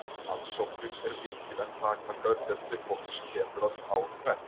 Aðsóknin er mikil en takmarkaður fjöldi fólks kemst að ár hvert.